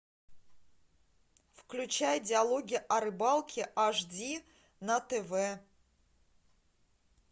включай диалоги о рыбалке аш ди на тв